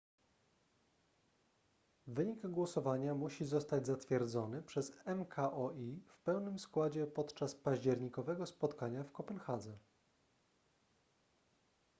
wynik głosowania musi zostać zatwierdzony przez mkol w pełnym składzie podczas październikowego spotkania w kopenhadze